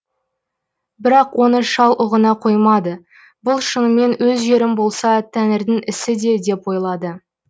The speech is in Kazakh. бірақ оны шал ұғына қоймады бұл шынымен өз жерім болса тәңірдің ісі де деп ойлады